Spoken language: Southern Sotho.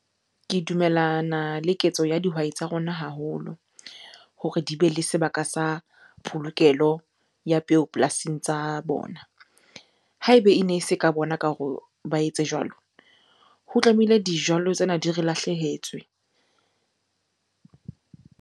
Ke dumellana le ketso ya dihwai tsa rona haholo hore di bele sebaka sa polokelo ya peo polasing tsa bona. Ha ebe ene se ka bona ka hore ba etse jwalo, ho tlamehile dijalo tsena di re lahlehetswe.